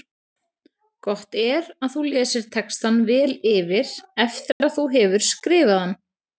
Gott er að þú lesir textann vel yfir eftir að þú hefur skrifað hann.